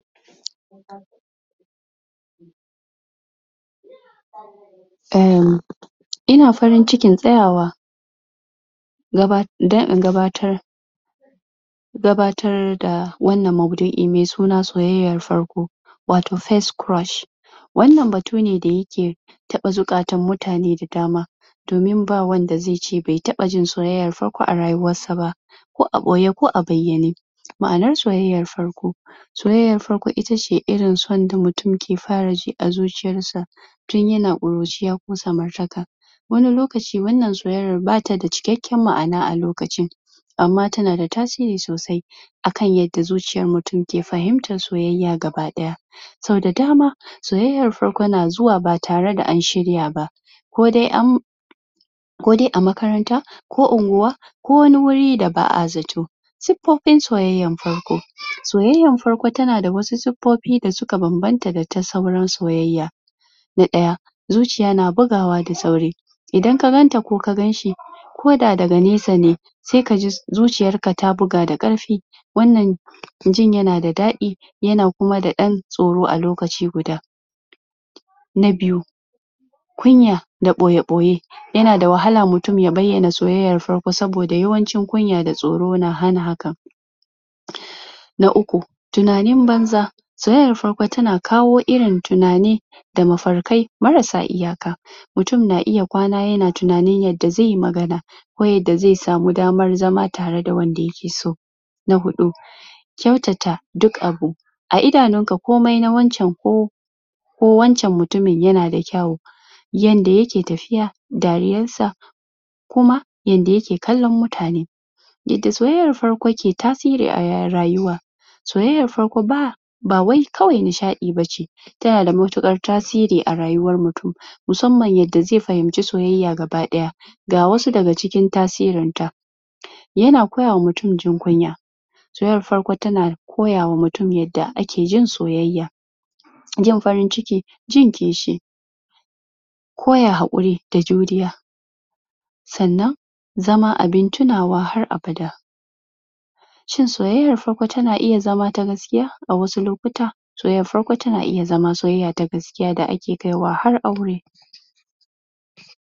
uhhmm Ina farin cikin tsayawa dan in gabatar gabatar da wannan mabdu'in me suna soyyayar farko watau [first crush] wannan batu ne da yake taɓa zukatun mutane da dama domin ba wanda ze ce be taɓa jin soyyayar farko a rayuwarsa ba ko a ɓoye ko a bayane ma'anar soyyayar farko soyyayar farko itace irin son da mutum ke fara ji a zuciyarsa tun yana ƙuruciya ko samartaka wani lokacin wannan soyyaya ba tada cikakan ma'ana a lokacin amma tanada tasiri sosai akan yadda zuciyan mutum ke fahimtar soyyayar gabaɗaya sau da dama soyyayar farko na zuwa ba tareda an shirya ba kodai am kodai a makaranta ko ungwa ko wani wuri da ba'a zato suffofin soyyayar farko soyyayar farko tana da wasu suffofi da suka banbanta da ta sauran soyyaya na ɗaya zuciya na bugawa da sauri idan ka ganta ko ka ganshi ko da daga nesa ne se kaji zuciyarka ta buga da karfi wannan jin yana da daɗi yana kuma da ɗan tsoro a lokaci guda na biyu kunya da boye-boye yana da wahala mutum ya bayana soyyayar farko saboda yawancin kunya da tsoro na hana haka na uku tunanin banza soyyayar farko tana kawo irin tunani da mafarkai marasa iyaka mutum na iya kwana yana tunanin yada ze yi magana ko yada ze samu damar zama tare da wanda yake so na huɗu kyautata duk abu a idanunka komai na waccan ko ko wanccan mutumin yanada kyawo yanda yake tafiya dariyar sa kuma yanda yake kallon mutane yadda soyyayar farko ke tasiri a rayuwa soyayyar farko ba ba wai kawai nishaɗi bace tanada mutukar tasiri a rayuwan mutum musamman yada ze fahimci soyyaya gabaɗaya ga wasu ga cikin tasirin ta yana koyawa mutum jin kunya soyyar farko tana koyawa mutum yada ake jin soyyaya jin faran ciki jin kishi koya haƙuri da juriya sannan zama abin tunawa har abada shin soyyayar farko tana iya zama ta gaskiya a wasu lokutan soyyayar farko tana iya zama soyyaya ta gaskiya da ake kai wa har aure.